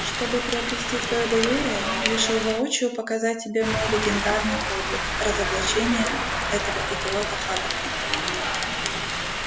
чтобы приобрести твоё доверие решил воочию показать тебе мой легендарный подвиг разоблачение этого идиота хагрида